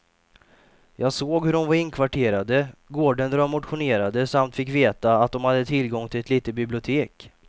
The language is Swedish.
Jag såg hur de var inkvarterade, gården där de motionerade samt fick veta att de hade tillgång till ett litet bibliotek.